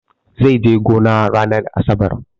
Zai je gona ranar asabar.